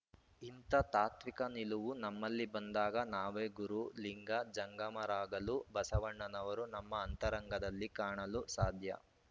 ಇಂಥ ತಾತ್ವಿಕ ನಿಲುವು ನಮ್ಮಲ್ಲಿ ಬಂದಾಗ ನಾವೇ ಗುರು ಲಿಂಗ ಜಂಗಮರಾಗಲು ಬಸವಣ್ಣನವರು ನಮ್ಮ ಅಂತರಂಗದಲ್ಲಿ ಕಾಣಲು ಸಾಧ್ಯ